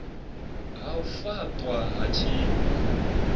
ha u faṱwa ha tshifha